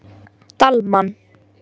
Dalmann